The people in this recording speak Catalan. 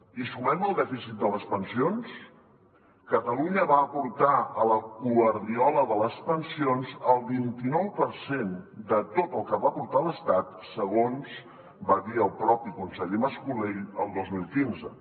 hi sumem el dèficit de les pensions catalunya va aportar a la guardiola de les pensions el vint i nou per cent de tot el que va aportar l’estat segons va dir el mateix conseller mas colell el dos mil quinze